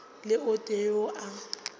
le o tee yo a